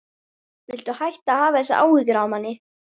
Viltu hætta að hafa þessar áhyggjur af manni!